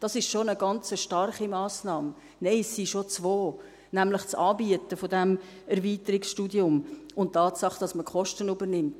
Dies ist schon eine ganz starke Massnahme – nein, es sind schon zwei, nämlich das Anbieten dieses Erweiterungsstudiums und die Tatsache, dass man die Kosten übernimmt.